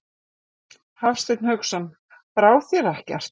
Hafsteinn Hauksson: Brá þér ekkert?